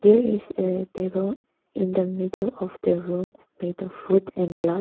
there is a table in the middle of the room made wood and glass.